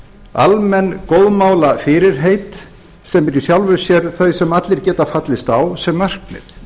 almenn góðmálafyrirheit sem eru í sjálfu sér þau sem allir geta fallist á sem markmið